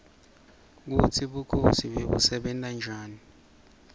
kutsi bukhosi bebusebenta njani